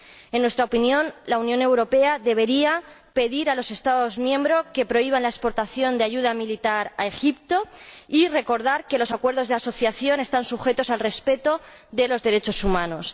En nuestra opinión, la Unión Europea debería pedir a los Estados miembros que prohíban la exportación de ayuda militar a Egipto y recordar que los acuerdos de asociación están sujetos al respeto de los derechos humanos.